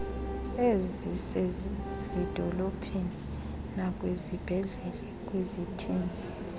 ezisezidolophini nakwizibhedlele kwizithili